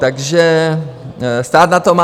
Takže stát na to má.